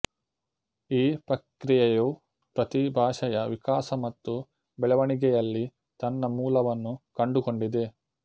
ಈ ಪ್ರಕ್ರಿಯೆಯು ಪ್ರತೀ ಭಾಷೆಯ ವಿಕಾಸ ಮತ್ತು ಬೆಳವಣಿಗೆಯಲ್ಲಿ ತನ್ನ ಮೂಲವನ್ನು ಕಂಡುಕೊಂಡಿದೆ